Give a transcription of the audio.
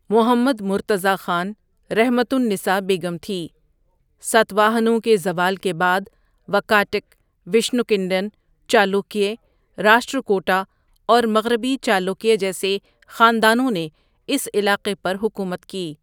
محمد مرتضٰی خان، رحمت النساء بیگم تھی ساتواہنوں کے زوال کے بعد، واکاٹک، وشنو کنڈِن، چالوکیہ، راشٹرکوٹا اور مغربی چالوکیہ جیسے خاندانوں نے اس علاقے پر حکومت کی۔